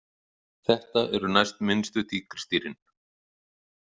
Þetta eru næstminnstu tígrisdýrin.